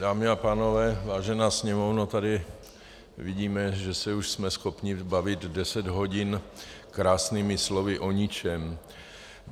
Dámy a pánové, vážená Sněmovno, tady vidíme, že se už jsme schopni bavit deset hodin krásnými slovy o ničem.